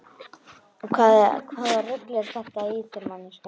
Hvaða rugl er þetta í þér manneskja!